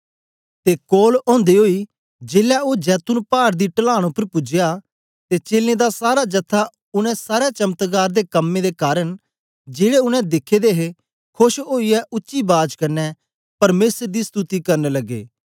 ते कोल औंदे ओई जेलै ओ जैतून पाड दी टलांन उपर पूजया ते चेलें दी सारा जथा उनै सारे चमत्कार दे कम्में दे कारन जेड़े उनै दिखे दे हे खोश ओईयै उच्ची बाज कन्ने परमेसर दी स्तुति करन लगे